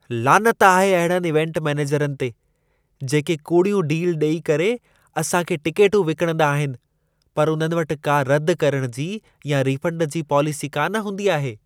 लानत आहे अहिड़नि इवेंट मैनेजरनि ते, जेके कूड़ियूं डील ॾेई करे असां खे टिकेटूं विकिणंदा आहिनि, पर उन्हनि वटि का रद करण जी या रीफंड जी पॉलिसी कान हूंदी आहे।